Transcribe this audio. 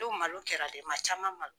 malo kɛra maa caman ma